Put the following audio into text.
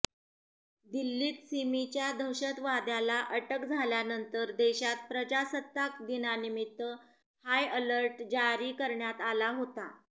दिल्लीत सिमीच्या दहशतवाद्याला अटक झाल्यानंतर देशात प्रजासत्ताक दिनानिमित्त हायअलर्ट जारी करण्यात आला होता